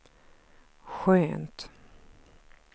skönt